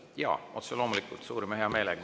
Jaa, otse loomulikult, suurima heameelega.